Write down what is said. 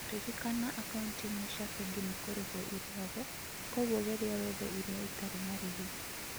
Rĩrìkana akauniti imwe ciȃ bengi nĩ kũrĩhũo ĩrĩ ȟaguŏ kŵoguo geria wethe ĩriã itari marîhi